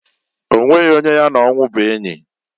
Onweghi onye ya na onwu bu enyi.